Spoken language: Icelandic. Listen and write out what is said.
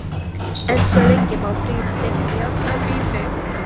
En svo lengi má brýna deigt járn að bíti.